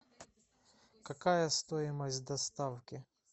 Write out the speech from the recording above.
какая стоимость доставки